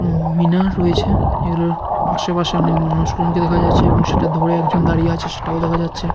এবং মিনা রয়েছে এগুলোর পাশেপাশে অনেক মানুষগুলোকে দেখা যাচ্ছে এবং সেটা ধরে একজন দাঁড়িয়ে আছে সেটাও দেখা যাচ্ছে।